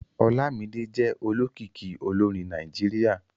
Olámídé jẹ́ olókìkí olórin Nàìjíríà